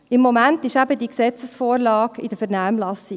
Im Moment ist eben die Gesetzesvorlage in der Vernehmlassung.